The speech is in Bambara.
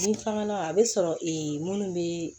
Ni faŋa a be sɔrɔ ee munnu be